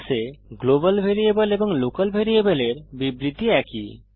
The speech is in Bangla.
C এ গ্লোবাল ভ্যারিয়েবল এবং লোকাল ভ্যারিয়েবলের বিবৃতি একই